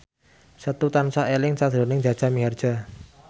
Setu tansah eling sakjroning Jaja Mihardja